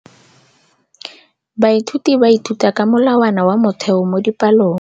Baithuti ba ithuta ka molawana wa motheo mo dipalong.